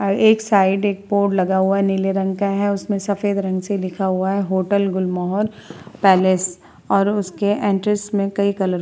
अ एक साइड एक बोर्ड लगा हुआ है। नील रंग का है। उसमें सफ़ेद रंग से लिखा हुआ है होटल गुलमोहर पैलेस और उसके एंट्रेस में कई कलर --